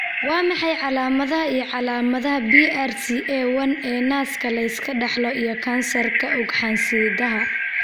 Waa maxay calaamadaha iyo calaamadaha BRCA one ee naaska la iska dhaxlo iyo kansarka ugxansidaha?